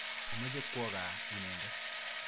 Mache kwo kaa inendet.